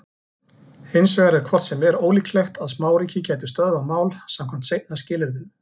Hins vegar er hvort sem er ólíklegt að smáríki gætu stöðvað mál samkvæmt seinna skilyrðinu.